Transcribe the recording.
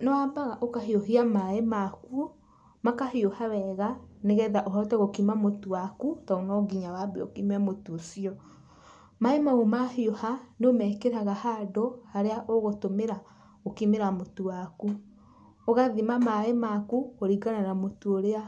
Nĩwambaga ũkahiũhia maĩ maku, makahiũha wega nĩgetha ũhote gũkima mũtu waku tondũ no nginya wambe ũkime mũtu ũcio. Maĩ mau mahiũha, nĩũmekĩraga handũ, harĩa ũgũtũmĩra gũkimĩra mũtu waku. Ũgathima maĩ maku kũringana na mũtu ũrĩa